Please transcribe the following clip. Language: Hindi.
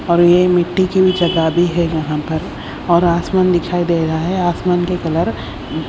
और ये मिट्टी की जगह भी है यहां पर और आसमान दिखाई दे रहा है आसमान के कलर अ--